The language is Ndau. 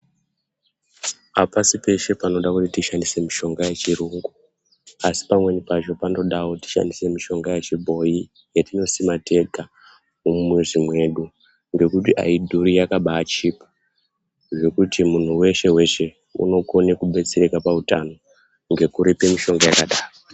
Apasi peshe panoda kuti tishandise mishonga yechiyungu, asi pamweni pacho panotoda kuti tishandise mishonga yechibhoi yetinosima tega mumizi mwedu ngekuti aidhuri yakabaachipa zvekuti munhu weshe-weshe unokone kubetsereka pautano ngekurete mishonga yakadaro.